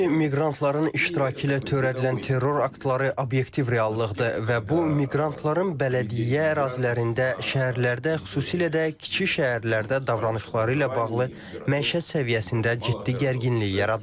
Təəssüf ki, miqrantların iştirakı ilə törədilən terror aktları obyektiv reallıqdır və bu miqrantların bələdiyyə ərazilərində, şəhərlərdə, xüsusilə də kiçik şəhərlərdə davranışları ilə bağlı məişət səviyyəsində ciddi gərginlik yaradır.